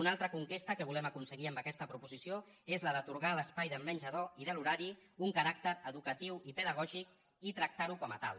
una altra conquesta que volem aconseguir amb aquesta proposició és la d’atorgar a l’espai del menjador i de l’horari un caràcter educatiu i pedagògic i tractar lo com a tal